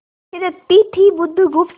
थिरकती थी बुधगुप्त